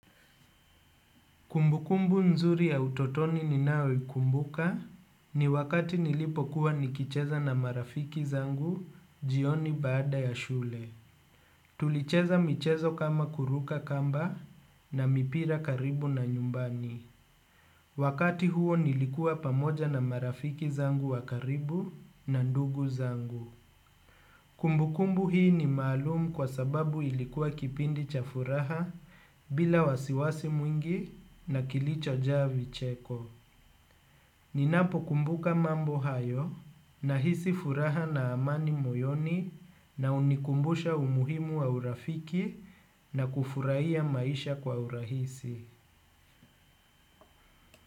Kumbukumbu nzuri ya utotoni ninao ikumbuka ni wakati nilipo kuwa nikicheza na marafiki zangu jioni baada ya shule. Tulicheza michezo kama kuruka kamba na mipira karibu na nyumbani. Wakati huo nilikuwa pamoja na marafiki zangu wakaribu na ndugu zangu. Kumbu kumbu hii ni maalumu kwa sababu ilikuwa kipindi cha furaha bila wasiwasi mwingi na kilicho jaa vicheko. Ninapo kumbuka mambo hayo nahisi furaha na amani moyoni na hunikumbusha umuhimu wa urafiki na kufurahia maisha kwa urahisi.